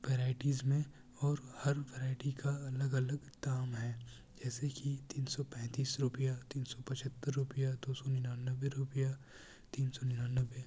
Varieties मैं और हर वैरायटी का अलग अलग दाम है। जैसे की तिन सों पै तीस रुपया तिन सो पचोतर रुपया दोसो नोन्वावे रुपया तीन सो नोन्वावे ।